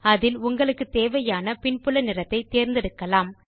அதில் நீங்கள் உங்களுக்கு தேவையான பின்புல நிறத்தை தேர்ந்தெடுக்கலாம்